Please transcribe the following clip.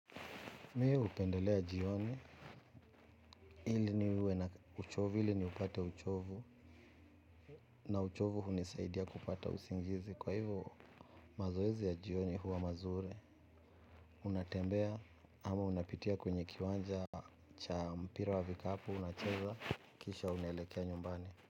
Miye hupendelea jioni ili niwe na uchovu ili niupate uchovu na uchovu hunisaidia kupata usingizi kwa hivyo mazoezi ya jioni huwa mazuri unatembea ama unapitia kwenye kiwanja cha mpira wa vikapu unacheza kisha unaelekea nyumbani.